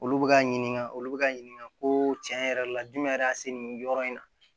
Olu bɛ ka ɲininka olu bɛ ka ɲininka ko tiɲɛ yɛrɛ la jumɛn yɛrɛ a se nin yɔrɔ in na